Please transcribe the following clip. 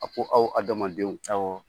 A ko aw adamadenw, awɔ.